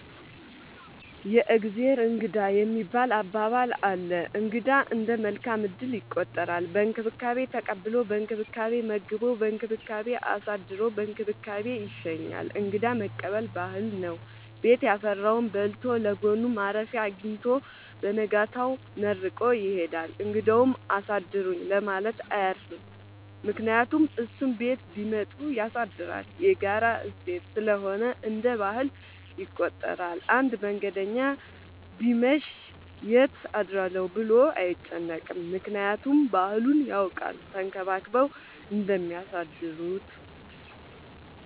የእግዜር እንግዳ የሚባል አባባል አለ። እንግዳ እንደ መልካም እድል ይቆጠራል። በእንክብካቤ ተቀብሎ በእንክብካቤ መግቦ በእንክብካቤ አሳድሮ በእንክብካቤ ይሸኛል። እንግዳ መቀበል ባህል ነው። ቤት ያፈራውን በልቶ ለጎኑ ማረፊያ አጊኝቶ በነጋታው መርቆ ይሄዳል። እንግዳውም አሳድሩኝ ለማለት አያፍርም ምክንያቱም እሱም ቤት ቢመጡ ያሳድራል። የጋራ እሴት ስለሆነ እንደ ባህል ይቆጠራል። አንድ መንገደኛ ቢመሽ ይት አድራለሁ ብሎ አይጨነቅም። ምክንያቱም ባህሉን ያውቃል ተንከባክበው እንደሚያሳድሩት።